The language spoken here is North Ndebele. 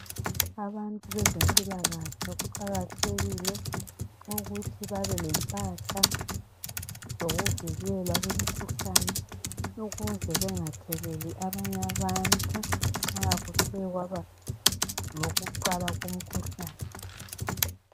Abantu bezempilakahle kuqakathekile ukuthi babe lempahla zokuvikela mkhuhlane ukuze bangatheleli abanye abantu nxa kuthe kwaba lokuqala komkhuhlane.